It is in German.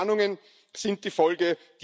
Soziale Spannungen sind die Folge.